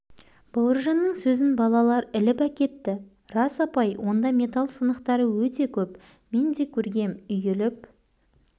бауыржанның сөзін балалар іліп әкетті рас апай онда металл сынықтары өте көп мен де көргем үйіліп